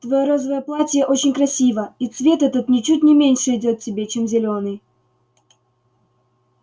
твоё розовое платье очень красиво и цвет этот ничуть не меньше идёт тебе чем зелёный